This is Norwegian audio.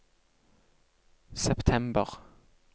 september